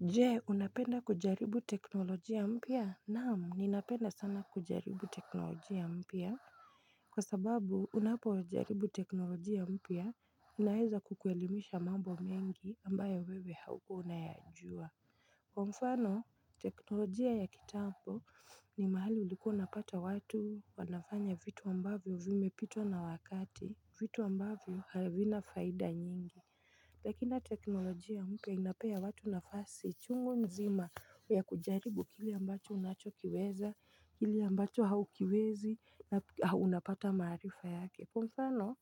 Je unapenda kujaribu teknolojia mpya naam ninapenda sana kujaribu teknolojia mpya Kwa sababu unapojaribu teknolojia mpya inaeza kukuelimisha mambo mengi ambayo wewe haukua unayajua Kwa mfano teknolojia ya kitambo ni mahali ulikua unapata watu wanafanya vitu ambavyo vimepitwa na wakati vitu ambavyo havina faida nyingi Lakini teknolojia mpya inapea watu nafasi chungu nzima ya kujaribu kile ambacho unachokiweza, kile ambacho haukiwezi na unapata maarifa yake. Kwa mfano,